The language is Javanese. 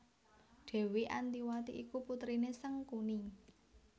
Dèwi Antiwati iku putriné Sangkuni